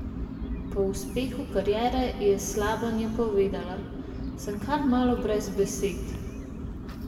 Po uspehu kariere je Slabanja povedala: "Sem kar malo brez besed.